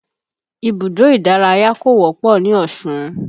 Ibùdó ìdárayá kò wọ́pọ̀ ní Osun